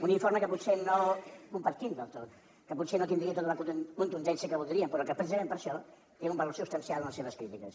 un informe que potser no compartim del tot que potser no tindria tota la contundència que voldríem però que precisament per això té un valor substancial en les seves crítiques